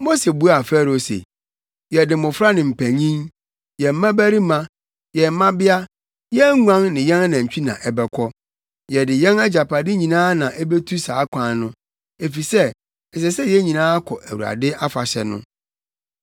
Mose buaa Farao se, “Yɛde mmofra ne mpanyin, yɛn mmabarima, yɛn mmabea, yɛn nguan ne yɛn anantwi na ɛbɛkɔ. Yɛde yɛn agyapade nyinaa na ebetu saa kwan no, efisɛ ɛsɛ sɛ yɛn nyinaa kɔ Awurade afahyɛ no.”